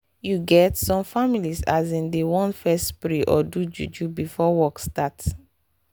you get some families asin dey want fess pray or do juju before work start